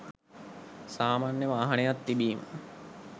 සාමාන්‍ය වාහනයක් තිබීම